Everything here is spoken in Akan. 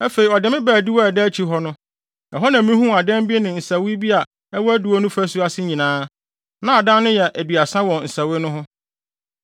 Afei ɔde me baa adiwo a ɛda akyi hɔ no. Ɛhɔ na mihuu adan bi ne nsɛwee bi a ɛwɔ adiwo no fasu ase nyinaa; na adan no yɛ aduasa wɔ nsɛwee no ho.